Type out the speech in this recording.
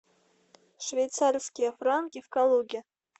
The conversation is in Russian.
швейцарские франки в калуге